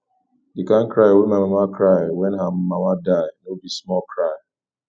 di kain cry wey my mama cry wen her mama die no be small cry